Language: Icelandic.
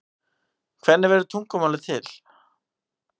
hvernig verður tungumál til